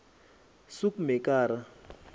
soekmekara